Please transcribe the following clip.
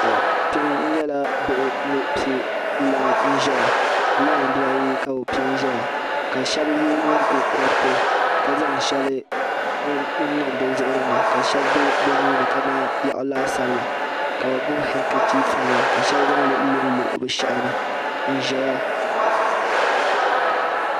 To kpe nyɛla bihi ni pɛ lain. nzɛya lain. dibaayi ka bi pɛ nzɛya, ka shab ye nyingo koriti ka zaŋ shɛli n niŋ bi zuɣurini ka shɛli be binuuni ka man yaɣu laasabu la ka bi gbubi hanka chif nima ka shab zaŋli n lɔnlɔ bishehini nzɛya.